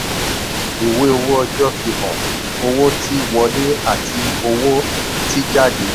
ìwé owó ọjọ́ fi hàn owó tí wọlé àti owó tí jáde.